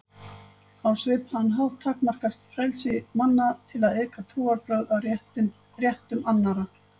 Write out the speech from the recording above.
Á svipaðan hátt takmarkast frelsi manna til að iðka trúarbrögð af réttindum annarra.